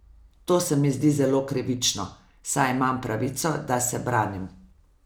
To se mi zdi zelo krivično, saj imam pravico, da se branim.